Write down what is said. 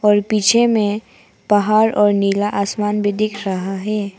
और पीछे में पहाड़ और नीला आसमान भी दिख रहा है।